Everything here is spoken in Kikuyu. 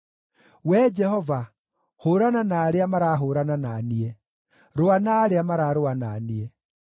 Wee Jehova, hũũrana na arĩa marahũũrana na niĩ; rũa na arĩa mararũa na niĩ.